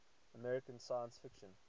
american science fiction